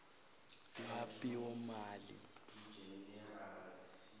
lwabiwomali